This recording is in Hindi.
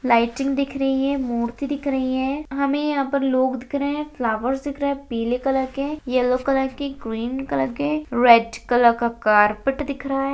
लाइटिंग दिख रही है मूर्ति दिख रही है हमें यहाँ पे लोग दिख रहे है फ्लावर्स दिख रहे है पिले कलर के येलो कलर के ग्रीन कलर के रेड कलर का कारपेट दिख रहा है।